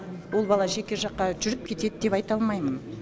ол бала жеке жаққа жүріп кетеді деп айта алмаймын